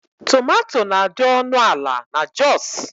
Tomatò na-adi ọnụ ala n'Joosu.